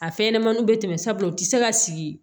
A fɛn ɲɛnɛmaniw bɛ tɛmɛ sabula u ti se ka sigi